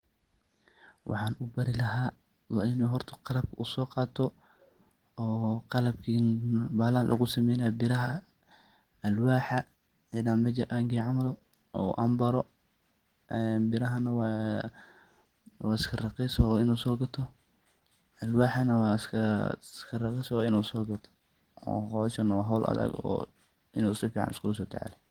Waxaan ubaari laha inu horta qalaab so qaato oo qalabki ee baha lahaan lagu sameynaye biirahaan, alwaxaa ina mejaa an geeyo camaal oo an baro e biraha naa wa iska raqiis inu so gaato, alwaxa naa wa iska raqiis so gaato howshan wa howl adaag u inu sifican iskugu so taxalujiyo.